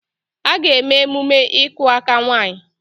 A ga-eme emume ịkụ aka nwaanyị